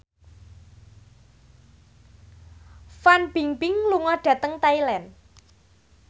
Fan Bingbing lunga dhateng Thailand